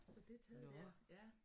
Så det er taget dér ja